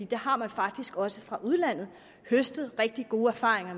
der har man faktisk også fra udlandet høstet rigtig gode erfaringer